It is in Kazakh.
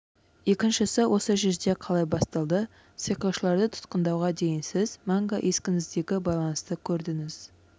екіншісі осы жерде қалай басталды сиқыршыларды тұтқындауға дейін сіз мәңгі ескіңіздегі байланысты көрдіңіз